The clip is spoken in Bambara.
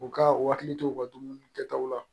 U ka u hakili to u ka dumuni kɛtaw la